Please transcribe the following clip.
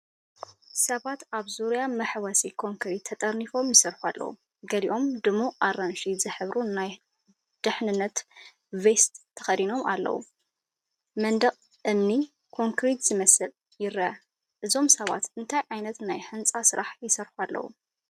ሰባት ኣብ ዙርያ መሕወሲ ኮንክሪት ተጠርኒፎም ይሰርሑ ኣለዉ። ገሊኦም ድሙቕ ኣራንሺ ዝሕብሩ ናይ ድሕነት ቬስት ተኸዲኖም ኣለዉ። መንደቕ እምኒን ኮንክሪት ዝመስልን ይረአ። እዞም ሰባት እንታይ ዓይነት ናይ ህንጻ ስራሕ ይሰርሑ ኣለዉ ?